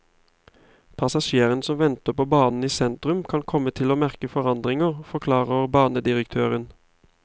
Passasjerene som venter på banen i sentrum, kan komme til å merke forandringen, forklarer banedirektøren.